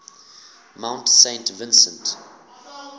mount saint vincent